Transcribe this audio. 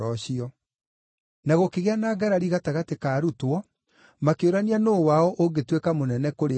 Na gũkĩgĩa na ngarari gatagatĩ ka arutwo makĩũrania nũũ wao ũngĩtuĩka mũnene kũrĩ arĩa angĩ.